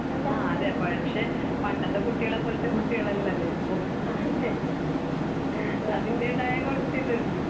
ആ അതെ പക്ഷെ പണ്ടത്തെ കുട്ടികളെത്തെ പോലത്തെ കുട്ടികൾ അല്ലല്ലോ ഇപ്പോൾ അതിന്റെതായ കുറച്ചു ഇതുണ്ട്.